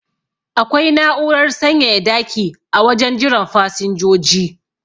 Akwai na'urar sanyaya daki a wajen jiran fasinjoji